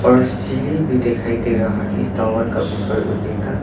और सीढ़ी भी दिखाई दे रहा है टावर का ऊपर उड़ने का--